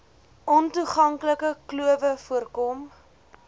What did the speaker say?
ontoeganklike klowe voorkom